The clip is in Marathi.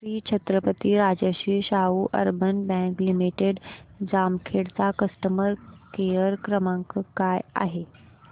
Shri Chhatrapati Rajashri Shahu urban bank limited Jamkhed चा कस्टमर केअर क्रमांक काय आहे